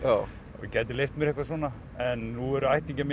og gæti leyft mér eitthvað svona en nú eru ættingjar mínir